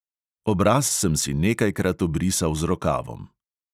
Obraz sem si nekajkrat obrisal z rokavom.